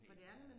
helt øh